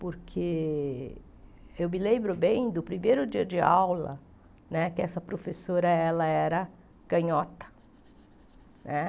Porque eu me lembro bem do primeiro dia de aula né, que essa professora ela era canhota né.